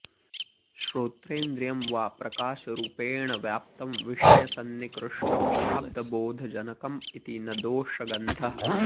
श्रोत्रेन्द्रियं वा प्रकाशरुपेण व्याप्तं विषयसन्निकृष्टं शाब्दबोधजनकम् इति न दोषगन्धः